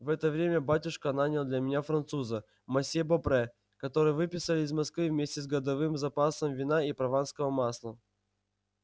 в это время батюшка нанял для меня француза мосье бопре которого выписали из москвы вместе с годовым запасом вина и прованского масла